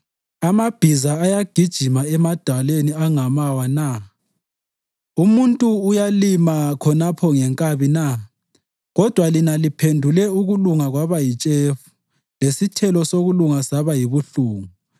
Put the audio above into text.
Amabhiza ayagijima emadwaleni angamawa na? Umuntu uyalima khonapho ngenkabi na? Kodwa lina liphendule ukulunga kwaba yitshefu lesithelo sokulunga saba yibuhlungu,